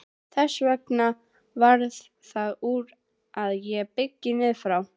Þess vegna varð það úr að ég byggði niður frá.